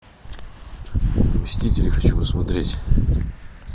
мстители хочу посмотреть